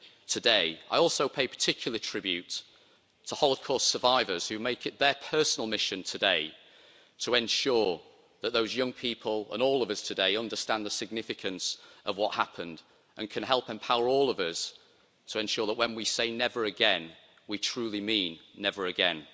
today. I also pay particular tribute to holocaust survivors who make it their personal mission today to ensure that those young people and all of us today understand the significance of what happened and can help empower all of us to ensure that when we say never again', we truly mean never again.